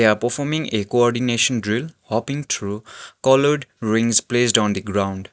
they are performing a coordination drill hopping through coloured rings placed on the ground.